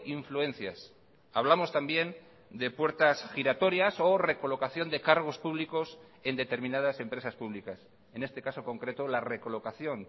influencias hablamos también de puertas giratorias o recolocación de cargos públicos en determinadas empresas públicas en este caso concreto la recolocación